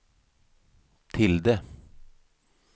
tilde